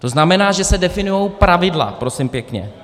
To znamená, že se definují pravidla prosím pěkně.